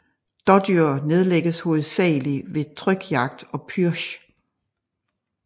Dådyr nedlægges hovedsagelig ved trykjagt og pürsch